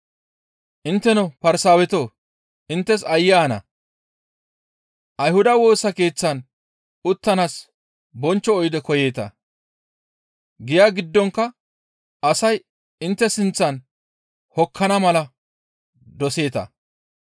«Intteno Farsaawetoo! Inttes aayye ana! Ayhuda Woosa Keeththan uttanaas bonchcho oyde koyeeta; giya giddonkka asay intte sinththan hokkana mala doseeta.